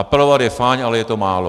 Apelovat je fajn, ale je to málo.